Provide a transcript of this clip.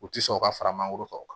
U ti sɔn ka fara mangoro kan o kan